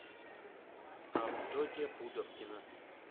авдотья пудовкина